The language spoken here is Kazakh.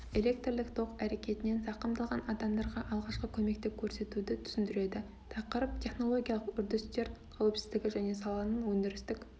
электрлік ток әрекетінен зақымдалған адамдарға алғашқы көмекті көрсетуді түсіндіреді тақырып технологиялық үрдістер қауіпсіздігі және саланың өндірістік